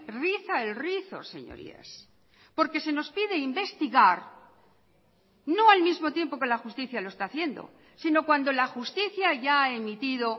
riza el rizo señorías porque se nos pide investigar no al mismo tiempo que la justicia lo está haciendo sino cuando la justicia ya ha emitido